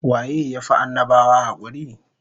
Waye ya fi annabawa hakuri?